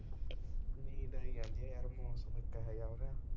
ਨੀਂਦ ਆਈ ਜਾਂਦੀ ਯਾਰ ਮੌਸਮ ਇੱਕ ਇਹੋ ਹੋ ਰਿਹਾ